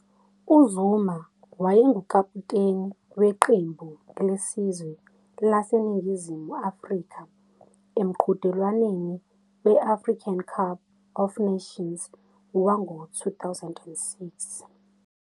UZuma wayengukaputeni weqembu lesizwe laseNingizimu Afrika emqhudelwaneni we-African Cup of Nations wango-2006.